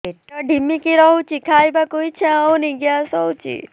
ପେଟ ଢିମିକି ରହୁଛି ଖାଇବାକୁ ଇଛା ହଉନି ଗ୍ୟାସ ହଉଚି